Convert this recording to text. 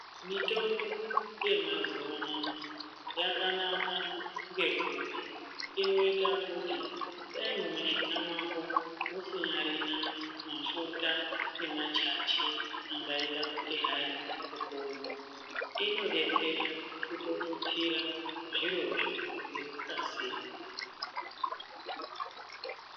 Mitombo yemazuwa ano yakanaka ngekuti inoita kuti dai mumishuna mwako musinyarina mafuta nemachachi angaita kuti hai upone inodetsera kutotutsira zvirozvo ngekukasira.